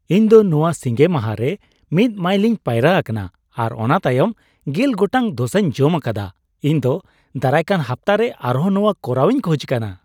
ᱤᱧ ᱫᱚ ᱱᱚᱣᱟ ᱥᱤᱸᱜᱮ ᱢᱟᱦᱟ ᱨᱮ ᱑ ᱢᱟᱭᱤᱞᱤᱧ ᱯᱟᱭᱨᱟ ᱟᱠᱟᱱᱟ ᱟᱨ ᱚᱱᱟ ᱛᱟᱭᱚᱢ ᱑᱐ ᱜᱚᱴᱟᱝ ᱰᱳᱥᱟᱧ ᱡᱚᱢ ᱟᱠᱟᱫᱟ ᱾ ᱤᱧ ᱫᱚ ᱫᱟᱨᱟᱭᱠᱟᱱ ᱦᱟᱯᱛᱟᱨᱮ ᱟᱨᱦᱚᱸ ᱱᱚᱣᱟ ᱠᱚᱨᱟᱣᱤᱧ ᱠᱷᱚᱡ ᱠᱟᱱᱟ ᱾